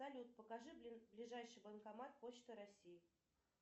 салют покажи ближайший банкомат почта россии